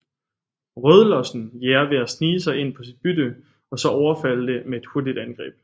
Rødlossen jager ved at snige sig ind på sit bytte og så overfalde det med et hurtigt angreb